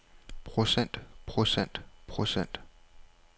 procent procent procent